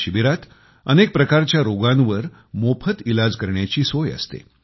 ह्या शिबिरांत अनेक प्रकारच्या रोगांवर मोफत इलाज करण्याची सोय असते